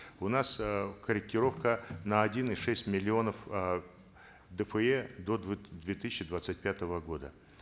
у нас э корректировка на один и шесть миллионов э дфэ до две тысячи двадцать пятого года